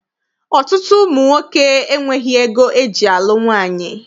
Ọtụtụ ụmụ nwoke enweghị ego eji alụ nwaanyị.